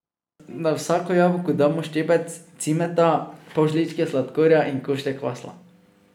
Na vsako jabolko damo ščepec cimeta, pol žličke sladkorja in košček masla.